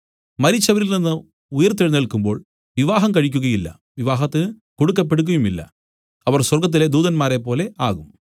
മരിച്ചവരിൽ നിന്നു ഉയിർത്തെഴുന്നേല്ക്കുമ്പോൾ വിവാഹം കഴിക്കുകയില്ല വിവാഹത്തിന് കൊടുക്കപ്പെടുകയുമില്ല അവർ സ്വർഗ്ഗത്തിലെ ദൂതന്മാരെപ്പോലെ ആകും